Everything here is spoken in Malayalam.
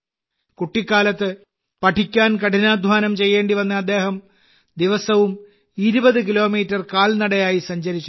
കുട്ടിക്കാലത്ത് പഠിക്കാൻ കഠിനാധ്വാനം ചെയ്യേണ്ടി വന്ന അദ്ദേഹം ദിവസവും 20 കിലോമീറ്റർ കാൽനടയായി സഞ്ചരിച്ചിരുന്നു